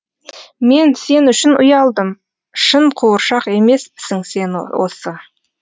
мен сен үшін ұялдым шын қуыршақ емеспісің сен осы